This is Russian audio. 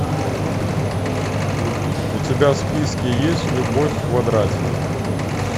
у тебя в списке есть любовь в квадрате